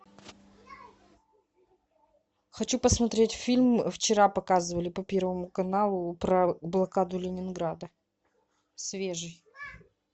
хочу посмотреть фильм вчера показывали по первому каналу про блокаду ленинграда свежий